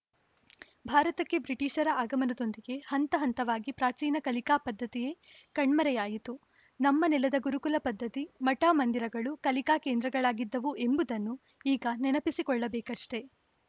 ಭಾರತಕ್ಕೆ ಬ್ರಿಟೀಷರ ಆಗಮನದೊಂದಿಗೆ ಹಂತ ಹಂತವಾಗಿ ಪ್ರಾಚೀನ ಕಲಿಕಾ ಪದ್ಧತಿಯೇ ಕಣ್ಮರೆಯಾಯಿತು ನಮ್ಮ ನೆಲದ ಗುರುಕುಲ ಪದ್ಧತಿ ಮಠ ಮಂದಿರಗಳು ಕಲಿಕಾ ಕೇಂದ್ರಗಳಾಗಿದ್ದವು ಎಂಬುದನ್ನು ಈಗ ನೆನಪಿಸಿ ಕೊಳ್ಳಬೇಕಷ್ಟೇ